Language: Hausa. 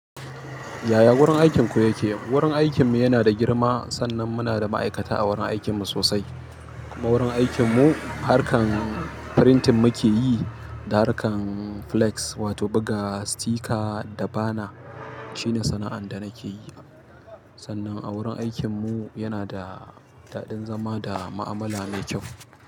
Yaya wurin aikinku yake? Wurin aikinmu yana da girma sannan muna da ma'aikata a wurin aikinmu sosai. Kuma wurin aikinmu harkan printing muke yi, da harkan flex wato buga sticker da banner shine sana'ar da nake yi. Sannan a wurin aikinmu yana da daɗin zama da ma'amala mai kyau.